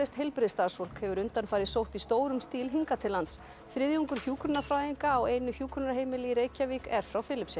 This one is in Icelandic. heilbrigðisstarfsfólk hefur undanfarið sótt í stórum stíl hingað til lands þriðjungur hjúkrunarfræðinga á einu hjúkrunarheimili í Reykjavík er frá Filippseyjum